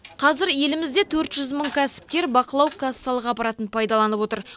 қазір елімізде төрт жүз мың кәсіпкер бақылау кассалық аппаратын пайдаланып отыр